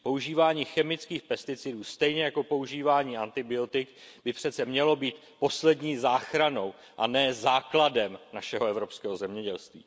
Používání chemických pesticidů stejně jako používání antibiotik by přece mělo být poslední záchranou a ne základem našeho evropského zemědělství.